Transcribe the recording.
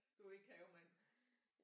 Du er ikke havemand